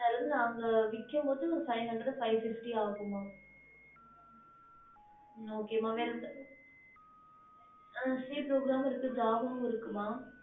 அவங்க விக்கும்போது five hundred five fifty ஆகும் okay mam okay c program book இருக்க mam ah c program java இருக்குமா